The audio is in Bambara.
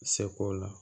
Seko la